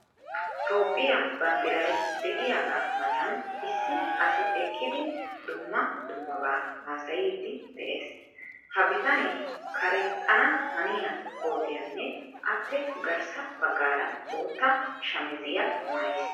Toophphiya banddiray de'iyagaa matan issi asi eqqidi dumma dummabaa haasayiiddi de'ees. Ha bitanee karexxana haniya kootiyanne appe garssa baggaara bootta shamiziya maayiis.